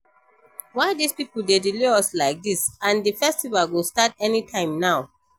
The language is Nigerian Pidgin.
Why dis people dey delay us like dis and the festival go start anytime now